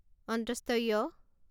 য়